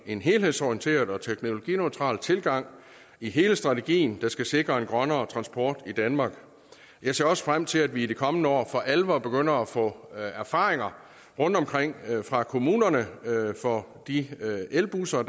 en helhedsorienteret og teknologineutral tilgang i hele strategien der skal sikre en grønnere transport i danmark jeg ser også frem til at vi i de kommende år for alvor begynder at få erfaringer rundtomkring fra kommunerne fra de elbusser